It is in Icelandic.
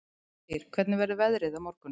Styr, hvernig verður veðrið á morgun?